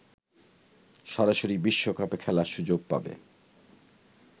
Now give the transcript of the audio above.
সরাসরি বিশ্বকাপে খেলার সুযোগ পাবে